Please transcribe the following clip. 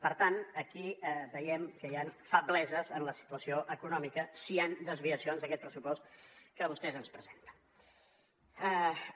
per tant aquí veiem que hi han febleses en la situació econòmica si hi han desviacions d’aquest pressupost que vostès ens presenten